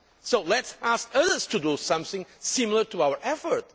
So let us ask others to do something similar to our effort.